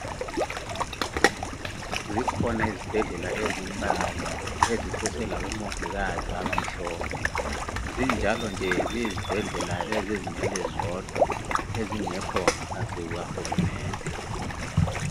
Zikhona izibhedlela ezimbalwa ezisese labomongikazi abamhlophe zinjalo nje ziyizibhedlela ezizimele zodwa ezingasekho ngaphansi kuka hulumende